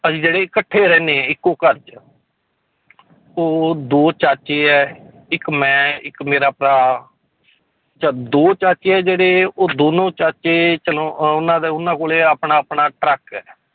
ਅਸੀਂ ਜਿਹੜੇ ਇਕੱਠੇ ਰਹਿੰਦੇ ਹਾਂ ਇੱਕੋ ਘਰ 'ਚ ਉਹ ਦੋ ਚਾਚੇ ਹੈ ਇੱਕ ਮੈਂ ਇੱਕ ਮੇਰਾ ਭਰਾ ਦੋ ਚਾਚੇ ਹੈ ਜਿਹੜੇ ਉਹ ਦੋਨੋਂ ਚਾਚੇ ਚਲੋ ਉਹਨਾਂ ਦਾ ਉਹਨਾਂ ਕੋਲੇ ਆਪਣਾ ਆਪਣਾ ਟਰੱਕ ਹੈ